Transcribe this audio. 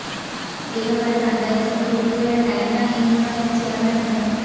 এ ব্যাপারে টাঙ্গাইল সদর উপজেলার ডাইন্যা ইউনিয়নের চেয়ারম্যান মো